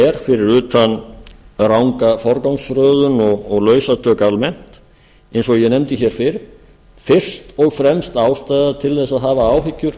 er fyrir utan ranga forgangsröðun og lausatök almennt eins og ég nefndi fyrr fyrst og fremst ástæða til að hafa áhyggjur